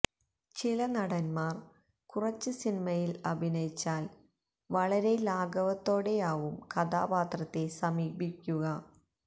ചില നടന്മാര് കുറച്ച് സിനിമയില് അഭിനയിച്ചാല് വളരെ ലാഘവത്തോടെയാവും കഥാപാത്രത്തെ സമീപിക്കുക